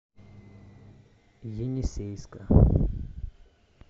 енисейска